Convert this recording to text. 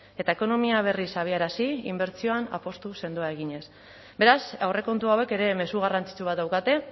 eta ekonomia berriz abiarazi inbertsioan apustu sendoa eginez beraz aurrekontu hauek ere mezu garrantzitsu bat daukate